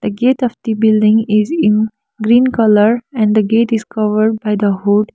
the gate of the building is in green colour and the gate covered by the hood.